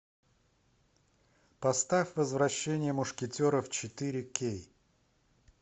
поставь возвращение мушкетеров четыре кей